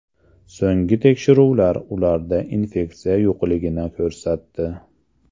So‘nggi tekshiruvlar ularda infeksiya yo‘qligini ko‘rsatdi.